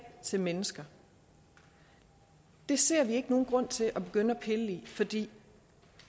til mennesker det ser jeg ikke nogen grund til at begynde at pille i fordi